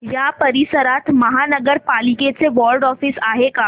या परिसरात महानगर पालिकेचं वॉर्ड ऑफिस आहे का